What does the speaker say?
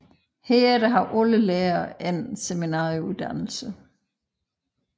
Herefter har lærerne alle en seminarieuddannelse